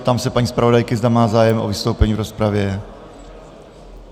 Ptám se paní zpravodajky, zda má zájem o vystoupení v rozpravě.